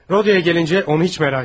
Rodiona gəlincə, onu heç narahat etməyin.